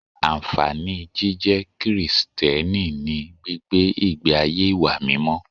Ànfàní jíjẹ́ Krìsìtẹ́nì ni gbígbé ìgbé ayé ìwà mímọ́